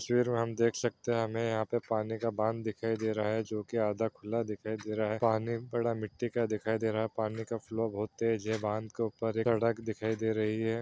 तस्वीर में हम देख सकते हैं कि हमें यहाँ पे पानी का बांध दिखाई दे रहा हैं जो कि आधा खुला दिखाई दे रहा है। पानी पड़ा मिट्टी दिखाई दे रहा है। पानी का फ्लो बोहोत तेज़ है। बांध के ऊपर एक सड़क दिखाई दे रही है।